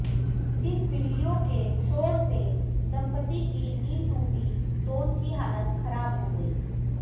इन बिल्लियों के शोर से दंपत्ति की नींद टूटी तो उनकी हालत खराब हो गई